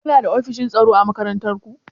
Kuna da ofishin tsaro a makarantar ku?